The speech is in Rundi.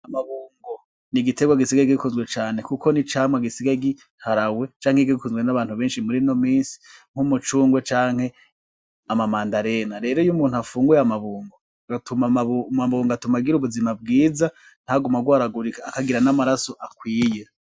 Amabungo ni igiterwa gisigaye gikunzwe cane kuko ni icamwa gisigaye giharawe canke gikunzwe n'abantu benshi muri ino minsi nk'umucungwe canke ama mandarine rero iyo umuntu afunguye amabungo , amabungo atuma agira ubuzima bwiza ntagume agwaragurika akagira ni amaraso akwiye.